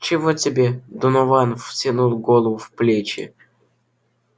чего тебе донован втянул голову в плечи